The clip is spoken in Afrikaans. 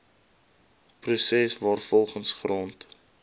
proses waarvolgens grond